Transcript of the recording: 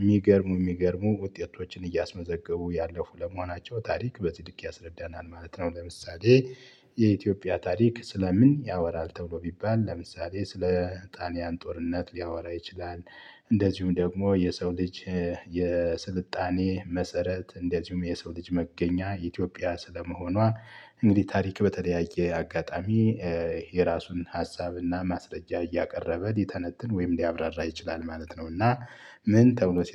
የሚገርሙ የሚገርሙ ውጤቶችን እያስመዘገቡ ያለፉ ለመሆናቸው ታሪክ በጽድቅ ያስረዳናል ማለት ነው። ለምሳሌ "የኢትዮጵያ ታሪክ ስለ ምን ያወራል?" ተብሎ ቢባል ለምሳሌ ስለ ጣሊያን ጦርነት ሊያወራ ይችላል፤ እንደዚሁም ደግሞ የሰው ልጅ የስልጣኔ መሰረት እንደዚሁም የሰው ልጅ መገኛ ኢትዮጵያ ስለመሆኗ እንግዲህ ታሪክ በተለያየ አጋጣሚ የራሱን ሀሳብና ማስረጃ እያቀረበ ሊተነትን ወይም ሊያብራራ ይችላል ማለት ነው፤ እና ምን ተብሎ ሲጠ